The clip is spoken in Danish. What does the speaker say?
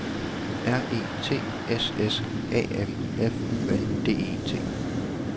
R E T S S A M F U N D E T